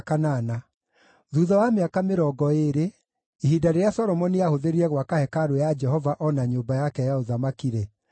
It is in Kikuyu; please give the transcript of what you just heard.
Thuutha wa mĩaka mĩrongo ĩĩrĩ, ihinda rĩrĩa Solomoni aahũthĩrire gwaka hekarũ ya Jehova o na nyũmba yake ya ũthamaki-rĩ,